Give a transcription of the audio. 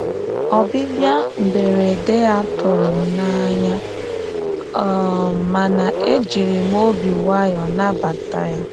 Ọ́bị̀bị̀à mberede yá tụ̀rụ̀ m n'anya, um màna ejìrì m obi nwayọ́ọ̀ nàbàtà yá.